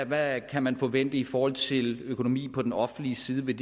hvad kan man forvente i forhold til økonomien på den offentlige side vil